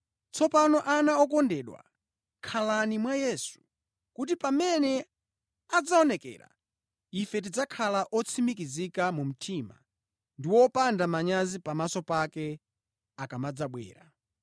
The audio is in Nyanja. Tsopano ana okondedwa, khalani mwa Yesu, kuti pamene adzaonekera, ife tidzakhale otsimikizika mu mtima ndi wopanda manyazi pamaso pake akamadzabwera.